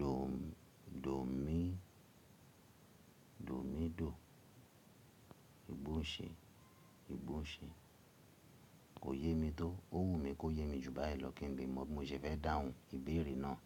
Dò, dòmi, dòmidò. Ìgbóhùnṣe, ìgbóhùnsẹ̀. Kò yé mi tó. Ó wù mí kó yé mi ju báyìí lọ kí n lè mọ bí mo ṣe fẹ́ dáhùn ìbéèrè náà.